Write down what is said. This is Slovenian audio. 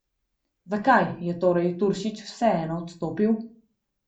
Zakaj je torej Turšič vseeno odstopil?